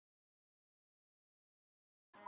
Ég hef alltaf sagt það.